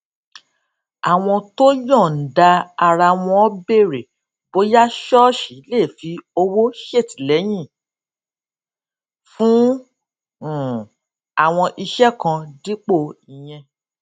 àwọn tó yòǹda ara wọn béèrè bóyá ṣóòṣì lè fi owó ṣètìléyìn fún um àwọn iṣé kan dípò ìyẹn